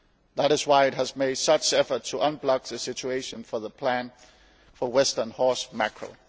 That is why it has made such an effort to unblock the situation for the plan for western horse mackerel.